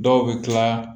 Dɔw bɛ tila